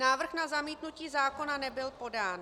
Návrh na zamítnutí zákona nebyl podán.